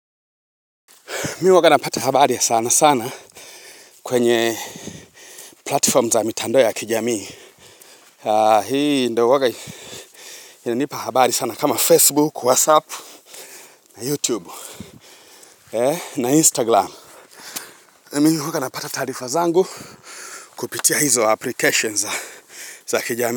Mimi huwanga napata habari ya sana sana kwenye platform za mitandao ya kijamii Haa hii ndo huwaga Inanipa habari sana kama facebook whatsapp na youtube na instagram, na mimi huwa napata taarifa zangu kupitia hizo application za kijamii.